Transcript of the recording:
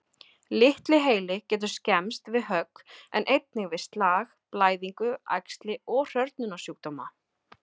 Litli heili getur skemmst við högg, en einnig við slag, blæðingu, æxli og hrörnunarsjúkdóma.